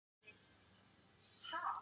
Kvenfólk er undirstaða bókmennta.